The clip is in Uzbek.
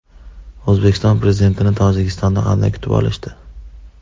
O‘zbekiston Prezidentini Tojikistonda qanday kutib olishdi?